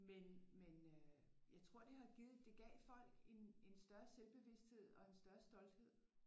Men men øh jeg tror det har givet det gav folk en større selvbevisthed og en større stolthed